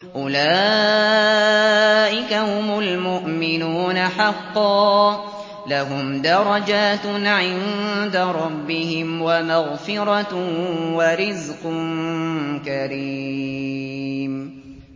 أُولَٰئِكَ هُمُ الْمُؤْمِنُونَ حَقًّا ۚ لَّهُمْ دَرَجَاتٌ عِندَ رَبِّهِمْ وَمَغْفِرَةٌ وَرِزْقٌ كَرِيمٌ